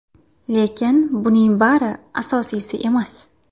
Lekin buning bari asosiysi emas.